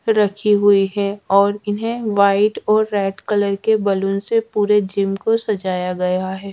रखी हुई है और इन्हें व्हाइट और रेड कलर के बैलून से पूरे जिम को सजाया गया है।